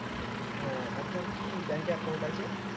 হ্যাঁ আর তোর কি bank এ account আছে?